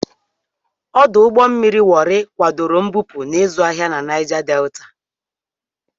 Ọdụ ụgbọ mmiri Wori kwadoro mbupu na ịzụ ahịa na Naija Delta.